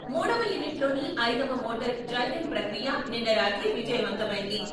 మూడవ యూనిట్ లోని ఐదవ మోటార్ డ్రై రన్ ప్రక్రియ నిన్న రాత్రి విజయవంతమైంది.